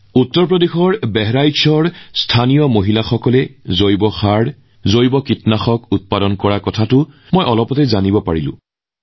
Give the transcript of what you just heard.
উত্তৰপ্ৰদেশৰ বাহৰেইচত স্থানীয় উপাদান ব্যৱহাৰ কৰি জৈৱ সাৰ আৰু জৈৱ কীটনাশক প্ৰস্তুত কৰা মহিলাৰ বিষয়ে জানিবলৈ পালোঁ